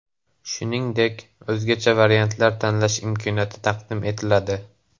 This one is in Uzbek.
Shuningdek, o‘zgacha variantni tanlash imkoniyati taqdim etiladi.